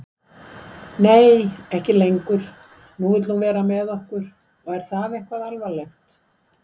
Nei, ekki lengur, nú vill hún vera með okkur er það eitthvað alvarlegt?